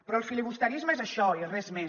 però el filibusterisme és això i res més